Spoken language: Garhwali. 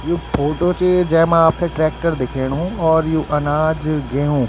यु फोटो च जैमा आपथे ट्रेक्टर दिखेणु और यु अनाज गेहूं।